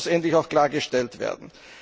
Das muss endlich klargestellt werden!